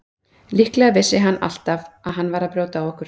Líklega vissi hann alltaf að hann var að brjóta á okkur.